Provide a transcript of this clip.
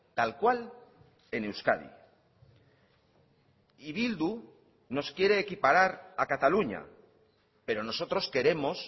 tal cual en euskadi y bildu nos quiere equiparar a cataluña pero nosotros queremos